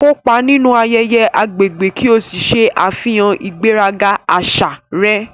Kópa nínú ayẹyẹ agbègbè ki o ṣe àfihàn ìgbéraga àṣà rẹ.